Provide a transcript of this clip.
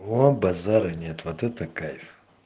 о базара нет вот это кайф